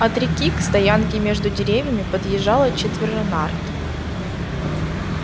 от реки к стоянке между деревьями подъезжало четверо нарт